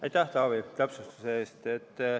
Aitäh, Taavi, täpsustuse eest!